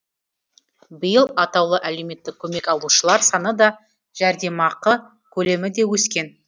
биыл атаулы әлеуметтік көмек алушылар саны да жәрдемақы көлемі де өскен